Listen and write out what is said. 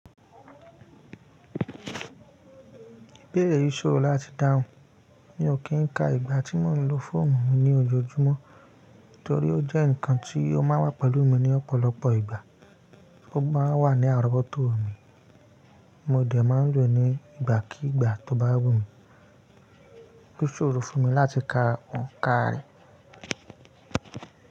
Ibẹ́ẹ̀re yii sóòrò láti dáhùn. Mi ó kín ka ìgbà tí mò ń lo fóònù mi ní ojoojúmọ́ torí ó jẹ́ ǹkan tí ó máa wà pẹ̀lú mi ní ọ̀pọ̀lọpọ̀ ìgbà. Ó máa wà ní àrọ́wọ́tò mi, mo dẹ̀ máa ń lò ó ní ìgbàkígbà tó bá wù mí. O sóòrò fún mi láti ka òǹkà rẹ̀.